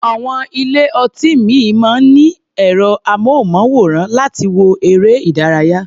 Àwọn ilé-ọtí ìmíì máa ń ní ẹ̀rọ-amóhùnmáwòrán láti wo eré-ìdárayá.